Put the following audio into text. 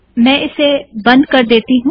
मैं इसे बंद कर देती हूँ